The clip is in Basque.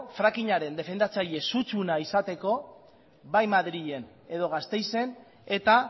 frackingaren defendatzaei sutsuena izateko bai madrilen edo gasteizen eta